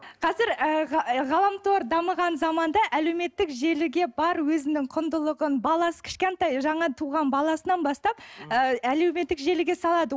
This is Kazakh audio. қазір ы ы ғаламтор дамыған заманда әлеуметтік желіге бар өзінің құндылығын баласы кішкентай жаңа туған баласынан бастап ы әлеуметтік желіге салады